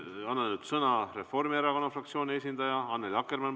Ma annan sõna Reformierakonna fraktsiooni esindajale Annely Akkermannile.